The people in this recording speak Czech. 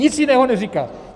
Nic jiného neříká.